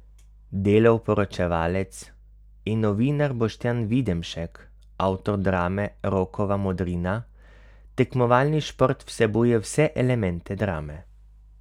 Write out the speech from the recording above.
Delov poročevalec in novinar Boštjan Videmšek, avtor drame Rokova modrina: 'Tekmovalni šport vsebuje vse elemente drame.